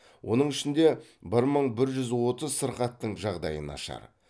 оның ішінде бір мың бір жүз отыз сырқаттың жағдайы нашар